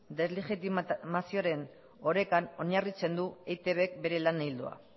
deslegitimazioaren orekan oinarritzen du eitbk bere lan ildoa